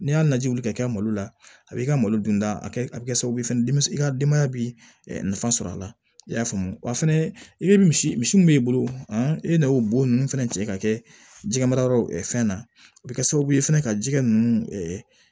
N'i y'a lajɛ wuli ka kɛ malo la a b'i ka malo dunta kɛ a bɛ kɛ sababu ye i ka denbaya bi nafa sɔrɔ a la i y'a faamu wa fɛnɛ i bɛ misi misi min b'i bolo i bɛ n'o bon nunnu fɛnɛ cɛ ka kɛ jɛgɛmarayɔrɔ ye fɛn na o bɛ kɛ sababu ye fana ka jikɛ ninnu